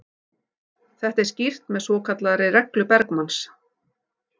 Þetta er skýrt með svokallaðri reglu Bergmanns.